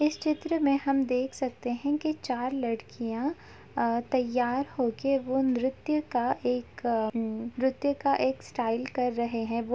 इस चित्र में हम देख सकते है कि चार लड़कियां आ- तैयार होकर वो नृत्य का एक अमम नृत्य का एक स्टाइल कर रहें हैं वो --